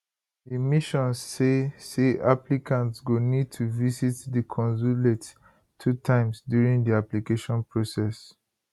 di mission say say applicantsgo need to visit di consulate two times during di application process